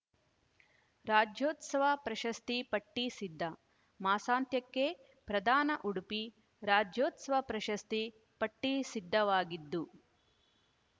ರಾಜ್ಯೋತ್ಸವ ಪ್ರಶಸ್ತಿ ಪಟ್ಟಿ ಸಿದ್ಧ ಮಾಸಾಂತ್ಯಕ್ಕೆ ಪ್ರದಾನ ಉಡುಪಿ ರಾಜ್ಯೋತ್ಸವ ಪ್ರಶಸ್ತಿ ಪಟ್ಟಿಸಿದ್ಧವಾಗಿದ್ದು